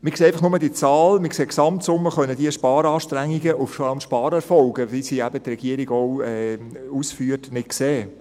Wir sehen einfach nur diese Zahl, sehen die Gesamtsumme, können diese Sparanstrengungen und vor allem Sparerfolge, wie sie eben die Regierung ausführt, nicht sehen.